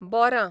बोरां